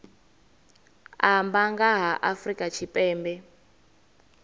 amba nga ha afrika tshipembe